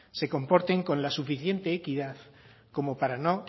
se comporten con la suficiente equidad como para no